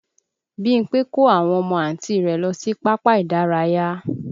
Bímpé kó àwọn ọmọ Àǹti rẹ̀ lọ sí pápá ìdárayá